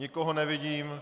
Nikoho nevidím.